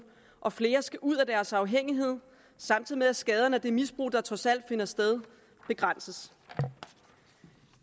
og flere skal ud af deres afhængighed samtidig med at skaderne af det misbrug der trods alt finder sted begrænses